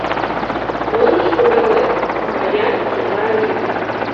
можешь показать своя чужая жизнь